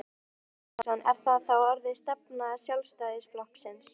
Heimir Már Pétursson: Er það þá orðin stefna Sjálfstæðisflokksins?